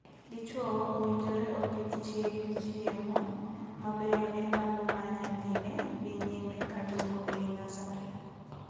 Dichwo owinjore opidh chiege ochiemo mabeyo e ndalo ma nyathine dhi nyime ka dongo ei nasari.